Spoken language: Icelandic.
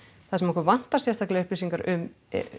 það sem okkur vantar sérstaklega upplýsingar um